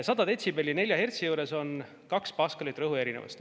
100 detsibelli 4 hertsi juures on 2 paskalit rõhuerinevust.